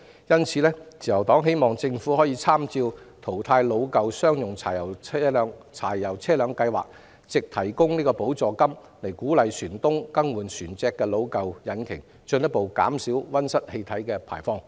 因此，自由黨希望政府參考淘汰老舊商用柴油車輛的計劃，藉提供補助金鼓勵船東更換船隻的老舊引擎，以進一步減少溫室氣體排放。